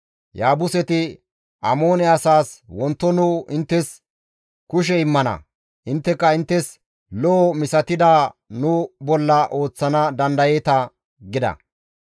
Yaabuse asay Amoone asaas, «Wonto nu inttes kushe immana; intteka inttes lo7o misatidaz nu bolla ooththana dandayeeta» gida.